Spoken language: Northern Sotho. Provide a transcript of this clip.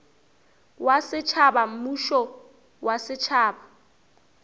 wa setšhaba mmušo wa setšhaba